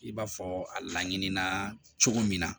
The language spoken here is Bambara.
I b'a fɔ a laɲinina cogo min na